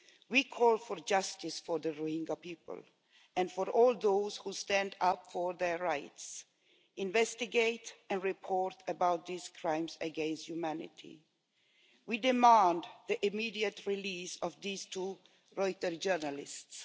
We call for justice for the Rohingya people and for all those who stand up for their rights and investigate and report on these crimes against humanity. We demand the immediate release of the two Reuter journalists.